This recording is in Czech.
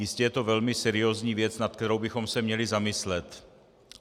Jistě je to velmi seriózní věc, nad kterou bychom se měli zamyslet.